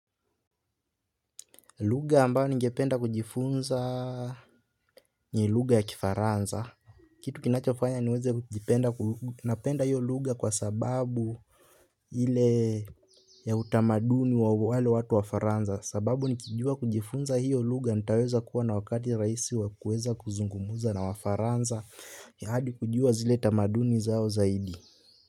Lugha ambayo ningependa kujifunza ni lugha ya kifaransa. Kitu kinachofanya niweze kujipenda napenda hiyo lugha kwa sababu ile ya utamaduni wa wale watu wafaransa. Sababu nikijua kujifunza hiyo lugha nitaweza kuwa na wakati rahisi wa kueza kuzungumza na wafaransa adi kujua zile tamaduni zao zaidi.